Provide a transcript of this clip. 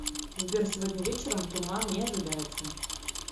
сбер сегодня вечером туман не ожидается